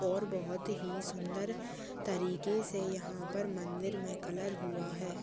-- और बहोत ही सुंदर तरीके से यहाँ पर मन्दिर मे कलर हुआ है।